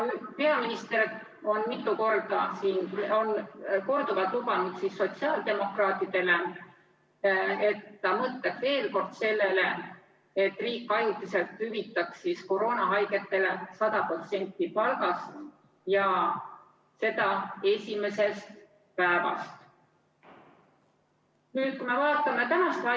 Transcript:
Peaminister on korduvalt lubanud sotsiaaldemokraatidele, et ta mõtleb veel kord sellele, et riik ajutiselt hüvitaks koroonahaigetele 100% palgast ja seda esimesest päevast alates.